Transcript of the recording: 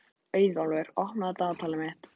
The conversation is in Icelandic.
Auðólfur, opnaðu dagatalið mitt.